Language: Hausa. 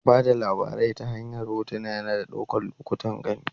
Ba da labari ta hanyar hotuna, yana ɗaukar lokutan gani.